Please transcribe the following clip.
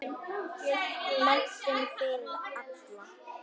Menntun fyrir alla.